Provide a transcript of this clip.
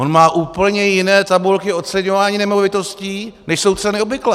On má úplně jiné tabulky oceňování nemovitostí, než jsou ceny obvyklé.